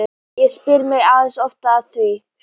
Ég spyr mig ansi oft að því